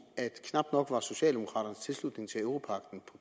at knap nok var socialdemokraternes tilslutning til europagten